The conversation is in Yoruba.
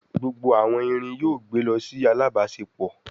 Gbógbó àwon ìrìn yóò gbé ló sì alábáṣepọ